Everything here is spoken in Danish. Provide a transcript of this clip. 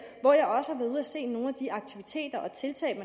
se nogle af de aktiviteter og tiltag